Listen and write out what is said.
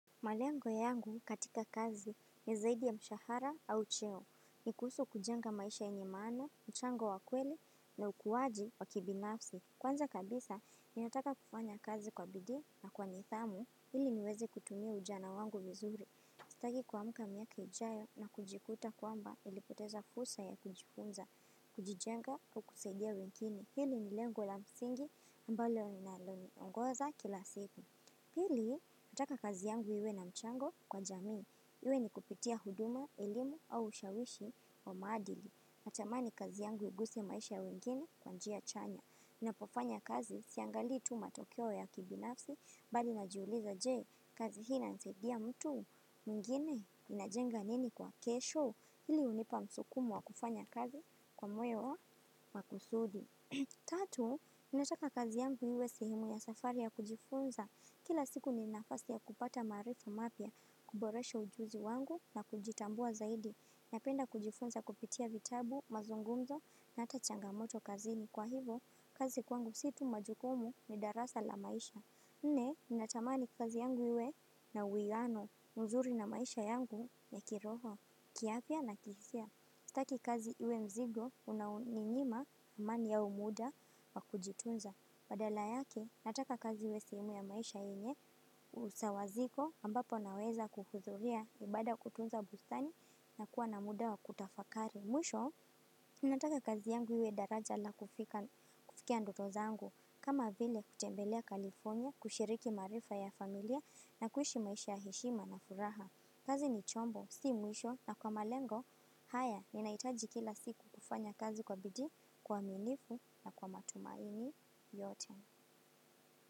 Malengo yangu katika kazi ni zaidi ya mshahara au cheo. Ni kuhusu kujenga maisha yenye maana, mchango wa kweli na ukuwaji wa kibinafsi. Kwanza kabisa, ni nataka kufanya kazi kwa bidii na kwa nidhamu. Hili niwezi kutumia ujana wangu vizuri. Sitaki kuamka miaka ijayo na kujikuta kwamba nilipoteza fusa ya kujifunza, kujijenga, kukusaidia wengine. Hili ni lengo la msingi ambalo linaloniongoza kila siku. Pili, nataka kazi yangu iwe na mchango kwa jamii. Iwe ni kupitia huduma, elimu au ushawishi wa maadili. Natamani kazi yangu iguse maisha wengine kwa njia chanya. Inapofanya kazi siangali tu matokeo ya kibinafsi badi najiuliza jee kazi hii inasaidia mtu mwingine inajenga nini kwa kesho hili hunipa msukumo wa kufanya kazi kwa mweo wa kusudi. Tatu, ninataka kazi yangu iwe sehemu ya safari ya kujifunza. Kila siku ni nafasi ya kupata maarifu mapya kuboresha ujuzi wangu na kujitambua zaidi. Napenda kujifunza kupitia vitabu, mazungumzo na ata changamoto kazini kwa hivo kazi kwangu si tu majukumu ni darasa la maisha. Nne, natamani kazi yangu iwe na uiano. Uzuri na maisha yangu ni kiroho, kiafya na kihizia Taki kazi iwe mzigo, unauninyima amani au muda wa kujitunza. Badala yake nataka kazi iwe sehemu ya maisha yenye usawa iko ambapo nawezahudhuria. Mwisho, nataka kazi yangu iwe daraja la kufikia ndoto zangu, kama vile kutembelea California, kushiriki maarifa ya familia na kuishi maisha ya heshima na furaha. Kazi ni chombo, si mwisho na kwa malengo, haya, ninahitaji kila siku kufanya kazi kwa bidii, kwa uaminifu na kwa matumaini yote.